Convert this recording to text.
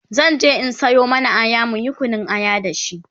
zanje in Sayo mana Aya muyi Kunun aya da shi